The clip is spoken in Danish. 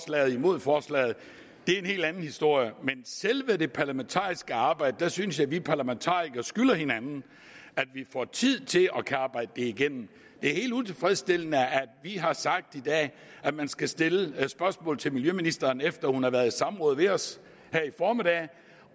eller imod forslaget er en helt anden historie men i selve det parlamentariske arbejde synes jeg at vi parlamentarikere skylder hinanden at give tid til at kunne arbejde det igennem det er helt utilfredsstillende at vi har sagt i dag at man skal stille spørgsmål til miljøministeren efter hun har været i samråd med os her i formiddag